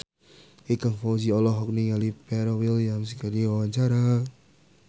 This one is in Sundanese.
Ikang Fawzi olohok ningali Pharrell Williams keur diwawancara